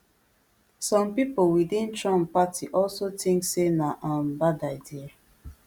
some pipo within trump party also think say na um bad idea